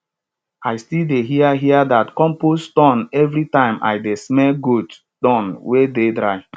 i still dey hear hear dat compost tune every time i dey smell goat dung wey dey dry